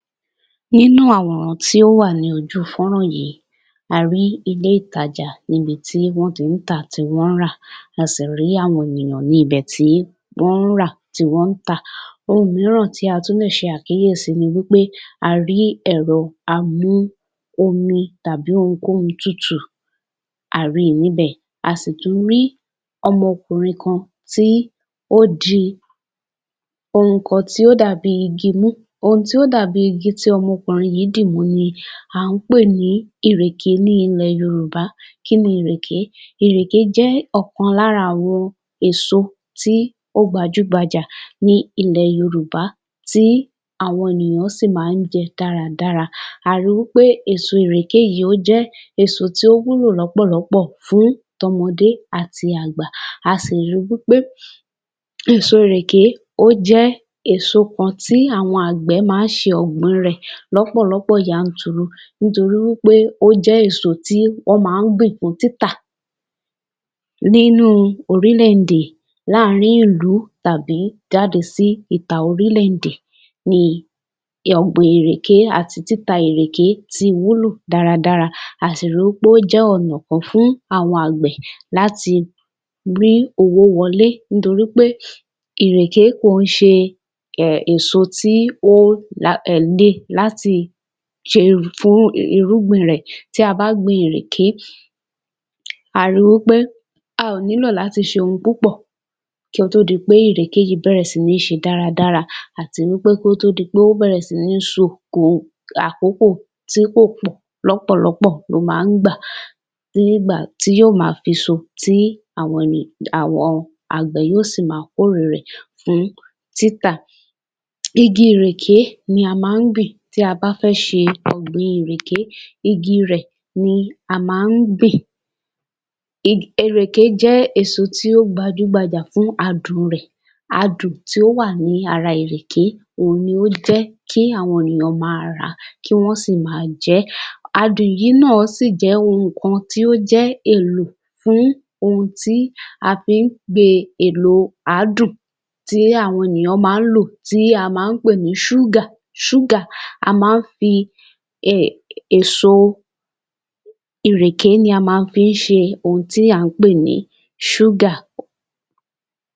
Nínú àwọn tí ó wà ní ojú fọ́n-rán yìí, arí ilé-ìtajà níbi tí wọ́n ti ń tà tí wọ́n ti ń rà, a sì rí àwọn ènìyàn níbẹ́ tí wọ́n ń rà tí wọ́n ń tà. Ohun mìíràn tí a tún lè ṣe àkíyèsi ni wí pé a rí ẹ̀rọ amú-omi tàbí ohunkóhun tutù, a rí i níbẹ̀, a sì tún rí ọmọkùnrin kan tí ó di ohun tí ó dàbí i igi mú, ohun tí ó dàbí i igi tí ọmọkùnrin yìí dìmú ni à ń pè ní ìrèké ní ilẹ̀ Yorùbá. Kí ni ìrèké? Ìrèké jẹ́ ọ̀kan lára àwọn èso tí ó gbajú gbajà ní ilẹ̀ Yorùbá tí àwọn ènìyàn sì máa ń jẹ dáradára àmọ́ èso ìrèké yìí ó jẹ́ èso tí ó wúlò lọ́pọ̀lọpọ̀ fún tọmọdé àti àgbà, a sì ri wí pé èso ìrèké ó jẹ́ èso kan tí àwọn àgbẹ̀ máa ń ṣe ọ̀gbìn rẹ̀ lọ́pọ̀lọ́pọ̀ yanturu, nítorí wí pé ó jẹ́ èso tí wọ́n máa ń gbìn fún títà nínú orílẹ̀-èdè, lááárin ìlú tàbí jáde sí ìta orílẹ̀-èdè ni ọ̀gbìn ìrèké àti títa ìrèké ti wúlò dáradára a sì ri wí pé ó jẹ́ ọ̀nà kan fún àwọn àgbẹ̀ láti rí owó wọlé nítorí pé ìrèké kìí ṣe èso tí ó máa ń le láti ṣe fún irúgbìn rẹ̀, tí a bá gbin ìrèké, a ri wí pé a ò nílò láti ṣe ohun púpọ̀ kí ó tó di pé ìrèké yìí bẹ̀rẹ̀ sí ni ṣe dáradára àti wí pé kó tó di pé ó bẹ̀rẹ̀ sí ní so ní àkókò tí kò pọ̀ lọ́pọ̀lọpọ̀ ló máa ń gbà tí yóò máa fi so tí àwọn àgbẹ̀ yóò sì máa kórè e rẹ̀ fún títà, igi ìrèké ni a máa ń gbìn tí a bá fẹ́ ṣe ọ̀gbìn ìrèké, igi rẹ̀ ni a máa ń gbìn, ìrèké jẹ́ èso tí ó gbajúgbajà fún adùn rẹ̀, adùn tí ó wà ní ara ìrèké ni ó jẹ́ kí àwọn ènìyàn máa rà á kí wọ́n sì máa jẹ́. Adùn yìí náà sì jẹ́ ohun kan tí ó jẹ́ èlò fún ohun tí a fí ń pe èlò àádùn tí àwọn ènìyàn máa ń lò, tí a máa ń pè ní ṣúgà, a máa ń fi èso, ìrèké ni a máa ń fi ṣe ohun tí à ń pè ní ṣúgà.